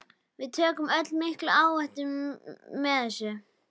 Við tökum öll mikla áhættu með þessu.